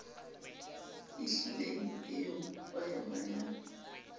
e hlileng e o hwayahwayang